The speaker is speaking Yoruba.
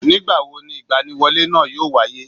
Nìgbàwo ni ìgbaniwọlé náà yóò wáyé